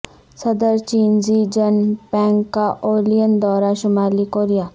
صدر چین Xi Jinping کا اولین دورہ شمالی کوریا